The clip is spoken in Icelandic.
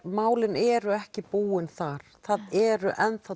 málin eru ekki búin þar það eru